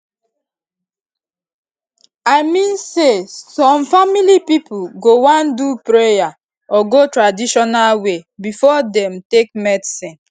i mean say some family pipo go wan do prayer or go traditional way before dem take medicine